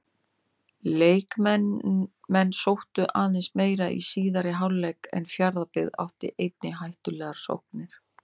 Leiknismenn sóttu aðeins meira í síðari hálfleik en Fjarðabyggð átti einnig hættulegar sóknir.